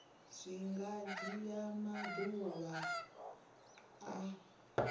zwi nga dzhia maḓuvha a